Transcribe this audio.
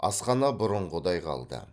асхана бұрынғыдай қалды